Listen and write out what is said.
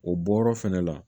O bɔyɔrɔ fɛnɛ la